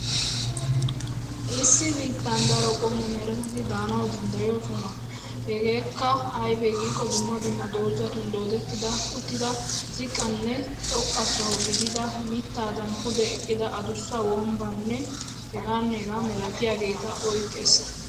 Issi biittan daro qommo meretati daanawu danddayoosona. Hegeekka aybee giikko dumma dumma doozatun doodetti uttida ziqqanne xoqqa soho gidida mittaadan pude eqqida adussa wombbaanne hegaanne hegaa milatiyaageta oyqqees.